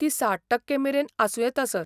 ती ६०% मेरेन आसूं येता, सर.